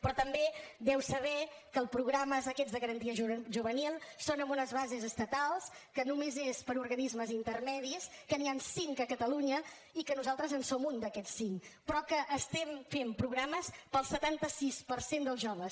però també deu saber que els programes aquests de garantia juvenil són amb unes bases estatals que només és per a organismes intermedis que n’hi han cinc a catalunya i que nosaltres en som un d’aquests cinc però que estem fent programes per al setanta sis per cent dels joves